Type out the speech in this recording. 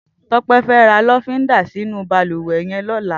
Tope fè rà lọ̀findá sinú bàlúwẹ̀ yèn lọ̀lá